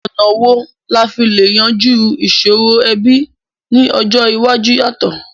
Ọ̀nà wo la fi le yanjú ìsòrò ẹbí ni ọjọ́ iwájú yàtọ̀?